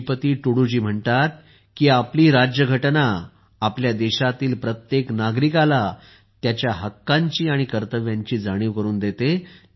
श्रीपती तुडूजी म्हणतात की आपली राज्यघटना आपल्या देशातील प्रत्येक नागरिकाला त्यांच्या हक्कांची आणि कर्तव्यांची जाणीव करून देते